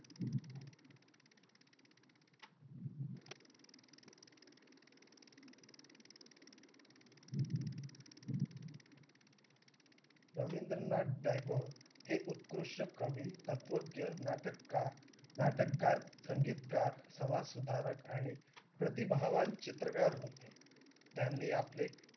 रविंद्रनाथ टागोर हे उत्कृष्ठ कवि तत्वज्ञ नाटककार संगीतकार समाजसुधारक आणि प्रतिभावं चित्रकार होते त्यांनी आपले